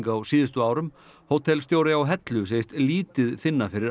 á síðustu árum hótelstjóri á Hellu segist lítið finna fyrir